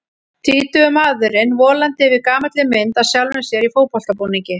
Tvítugur maðurinn volandi yfir gamalli mynd af sjálfum sér í fótboltabúningi.